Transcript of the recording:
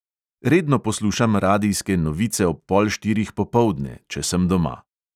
Redno poslušam radijske novice ob pol štirih popoldne, če sem doma.